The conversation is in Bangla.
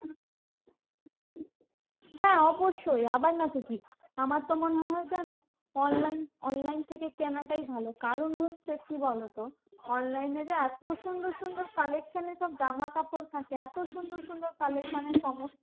হ্যাঁ অবশ্যই আবার না তো কি? আমার তো মনে হয় জানো? online online থেকে কেনাটাই ভালো। কারণ হচ্ছে কি বলতো? online এ যে এত সুন্দর সুন্দর collection এর সব জামাকাপড় থাকে, এত সুন্দর সুন্দর collection এর সমস্ত